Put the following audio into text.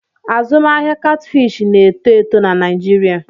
Azụmahịa Catfish na-eto eto na Naịjirịa.